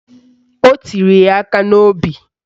O tiri ya aka n'obi